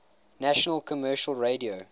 national commercial radio